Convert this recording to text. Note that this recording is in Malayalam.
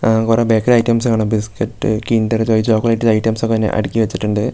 ആഹ് കൊറേ ബേക്കറി ഐറ്റംസ് കാണാം biscuit Kinder Joy chocolate items ങ്ങനെ അടുക്കി വച്ചിട്ടുണ്ട്.